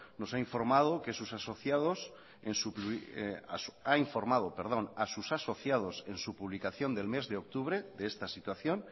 ha informado a sus asociados en su publicación del mes de octubre de esta situación